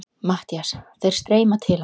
MATTHÍAS: Þeir streyma til hans.